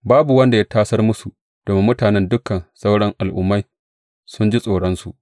Babu wanda ya tasar musu domin mutanen dukan sauran al’ummai sun jin tsoronsu.